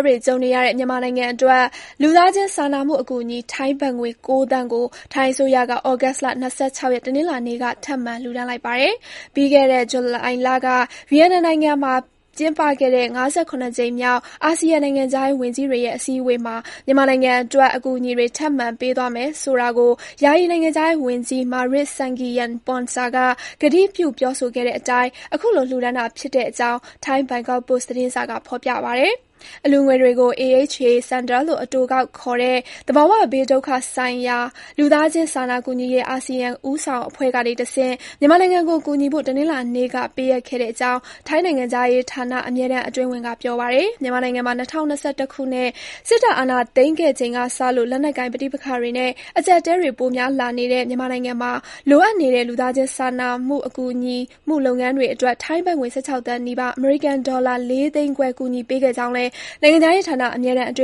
တွေ ကြုံနေရတဲ့ မြန်မာနိုင်ငံအတွက် လူသားချင်းစာနာမှု အကူအညီ ထိုင်းဘတ်ငွေ ၉ သန်းကို ထိုင်းအစိုးရက သြဂုတ်လ ၂၆ ရက်၊ တနင်္လာနေ့က ထပ်မံ လှူဒါန်းလိုက်ပါတယ်။ ပြီးခဲ့တဲ့ ဇူလိုင်လက ဗီယက်နမ်နိုင်ငံမှာ ကျင်းပခဲ့တဲ့ ၅၇ ကြိမ်မြောက် အာဆီယံ နိုင်ငံခြားရေး ဝန်ကြီးတွေရဲ့ အစည်းအဝေးမှာ မြန်မာနိုင်ငံအတွက် အကူအညီတွေ ထပ်မံ ပေးသွားမယ်ဆိုတာကို ယာယီ နိုင်ငံခြားရေးဝန်ကြီး Maris Sangiampongsa က ကတိပြု ပြောဆိုခဲ့တဲ့အတိုင်း ခုလို လှူဒါန်းတာဖြစ်တဲ့အကြောင်း ထိုင်း ဘန်ကောက်ပို့စ် သတင်းစာက ဖော်ပြပါတယ်။ အလှူငွေတွေကိုတော့ AHA Centre လို့ အတိုကောက်ခေါ်တဲ့ သဘာဝဘေးဒုက္ခ ဆိုင်ရာ လူသားချင်း စာနာကူညီရေး အာဆီယံ ဦးဆောင်အဖွဲ့ကနေတဆင့် မြန်မာနိုင်ငံကို ကူညီဖို့ တနင်္လာနေ့က ပေးအပ်ခဲ့တဲ့အကြောင်း ထိုင်းနိုင်ငံခြားရေးဌာန အမြဲတမ်း အတွင်းဝန် Eksiri Pintaruchi က ပြောပါတယ်။ မြန်မာနိုင်ငံမှာ ၂၀၂၁ ခုနှစ် စစ်တပ် အာဏာသိမ်းခဲ့ချိန်ကစလို့ လက်နက်ကိုင် ပဋိပက္ခတွေနဲ့ အကျပ်အတည်းတွေ ပိုများလာနေတဲ့ မြန်မာနိုင်ငံမှာ လိုအပ်နေတဲ့ လူသားချင်း စာနာကူညီမှု လုပ်ငန်းတွေအတွက် ထိုင်းဘတ်ငွေ ၁၆ သန်းနီးပါး၊ (အမေရိကန်ဒေါ်လာ ၄ သိန်းခွဲ) ကူညီပေးခဲ့ကြောင်းလည်း နိုင်ငံခြားရေးဌာန အမြဲတမ်း အတွ